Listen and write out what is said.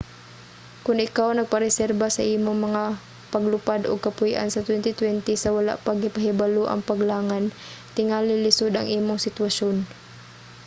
kon ikaw nagpareserba sa imong mga paglupad ug kapuy-an sa 2020 sa wala pa gipahibalo ang paglangan tingali lisod ang imong sitwasyon